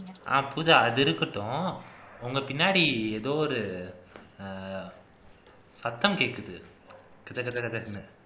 அஹ் பூஜா அது இருக்கட்டும் உங்க பின்னாடி எதோ ஒரு ஹம் சத்தம் கேக்குது கதகதகத்ன்னு